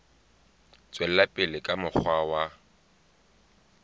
tswela pele ka mokgwa wa